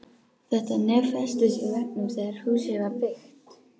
Þetta nef festist í veggnum þegar húsið var byggt.